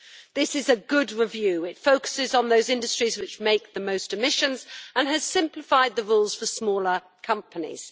This is a good review it focuses on those industries which produce the most emissions and it has simplified the rules for smaller companies.